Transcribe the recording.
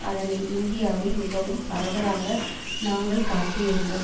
அதனை இந்தியாவில் மிகவும் பரவலாக நாங்கள் காட்டி இருந்தோம்